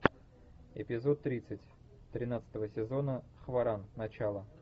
эпизод тридцать тринадцатого сезона хваран начало